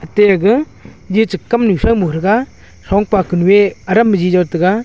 aate aga jicha kamnu shaumo thaga thongpa kuku ee adam biji jao taga.